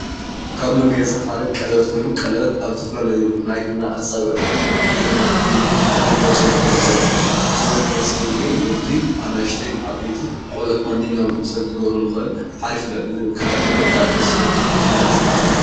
ካብ መጋየፅታት ሓደ ቀለበት ኮይኑ ቀለበት ኣብ ዝተፈላለየ ናይ ኢድና ኣፃብዕትታት ጌርና ክነጋይፀሎም ንኽእል ኢና፡፡ እዚ መጋየፂ እዚ ወዲ፣ ኣናእሽተይ፣ ዓበይቲ ቆልዑ ማንም ሰብ ክገብሮ ዝኽእል ክረአ ከሎ ብጣዕሚ ደስ ዝብል መጋየፂ እዩ፡፡